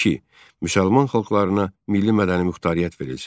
İki. Müsəlman xalqlarına milli-mədəni muxtariyyət verilsin.